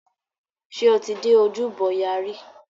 Ṣé o ti dé ojúbọ ọya rí?